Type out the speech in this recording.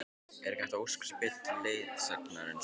Er hægt að óska sér betri leiðsagnar en svo?